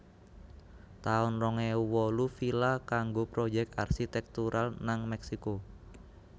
taun rong ewu wolu Villa kanggo proyèk arsitektural nang Meksiko